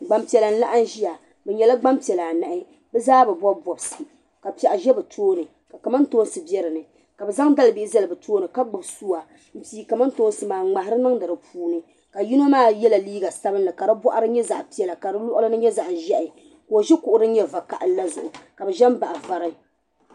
Gban piɛla. n laɣim n ziya. bi nyela. gban piɛla anahi. bizaa bi. bɔb bɔbisi, kapɛɣu za bi tooni. ka kamantoonsi bɛ dini. kabi zaŋ dali bihi. zali bi tooni. ka gbubi suwa. n pii kamantoonsi maa, n ŋmahiri niŋdi di puu ni ka yino maa. yela liiga sabinli, ka di bɔɣiri. zaɣ' pɛla ka di luɣlini nye zaɣzehi ka. ozi luɣu din. nya. va kahili la zuɣu, ka zen naɣ' vari.